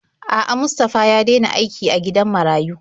A'a, Mustafa ya dena aiki a gidan marayu.